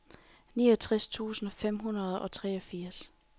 niogtres tusind fem hundrede og treogfirs